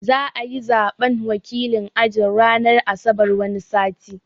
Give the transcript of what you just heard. Za'ayi Zaɓen wakilin aji ranar asabar wani sati